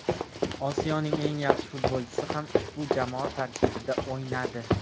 Osiyoning eng yaxshi futbolchisi ham ushbu jamoa tarkibida o‘ynadi.